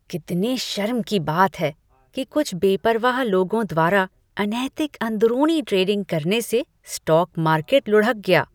कितने शर्म की बात है कि कुछ बेपरवाह लोगों द्वारा अनैतिक अंदरूनी ट्रेडिंग करने से स्टॉक मार्केट लुढ़क गया।